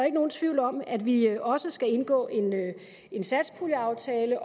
ikke nogen tvivl om at vi også skal indgå en satspuljeaftale